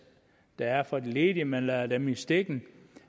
der er for de ledige at man lader dem i stikken